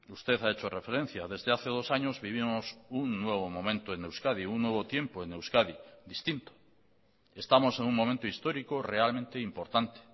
usted ha hecho referencia desde hace dos años vivimos un nuevo momento en euskadi un nuevo tiempo en euskadi distinto estamos en un momento histórico realmente importante